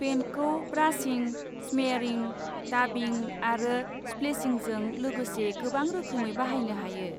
पेइन्टखौ ब्रासिं, स्मेयारिं, डाबिं आरो स्प्लेशिंजों लोगोसे गोबां रोखोमै बाहायनो हायो।